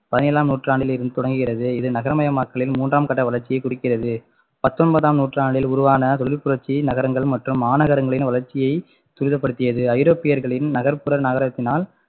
பதினேழாம் நூற்றாண்டில் இருந்து தொடங்குகிறது இது நகரமயமாக்கலில் மூன்றாம் கட்ட வளர்ச்சியை குறிக்கிறது பத்தொன்பதாம் நூற்றாண்டில் உருவான தொழிற்புரட்சி நகரங்கள் மற்றும் மாநகரங்களின் வளர்ச்சியை துரிதப்படுத்தியது ஐரோப்பியர்களை நகர்ப்புற நகரத்தினால்